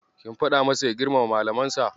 Kin faɗa masa ya girmama Malamansa?